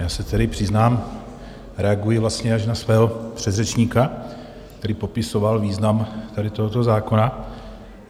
Já se tedy přiznám, reaguji vlastně až na svého předřečníka, který popisoval význam tady tohoto zákona.